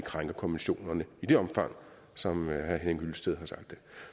krænke konventionerne i det omfang som herre henning hyllested har sagt